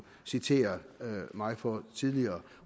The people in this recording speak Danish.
citere mig for tidligere